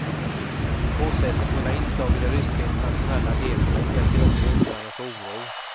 Motsägelsefulla inslag i det ryska internationella agerandet väcker också undran och oro.